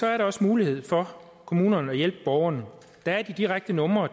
er der også mulighed for at kommunerne kan hjælpe borgerne der er de direkte numre